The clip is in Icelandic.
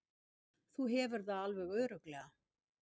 Þú hefur það alveg örugglega.